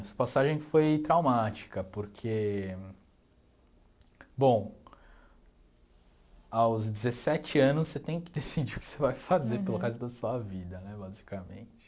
Essa passagem foi traumática, porque... Bom, aos dezessete anos você tem que decidir o que você vai fazer pelo resto da sua vida, né, basicamente.